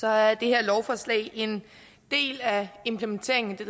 er det her lovforslag en del af implementeringen af